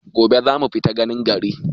Gobe za mu fita ganin gari.